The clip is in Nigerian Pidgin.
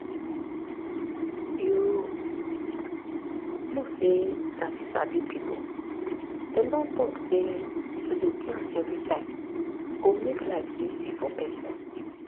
you know say sabi sabi people dem don talk say to dey plan everytime go make life easy for person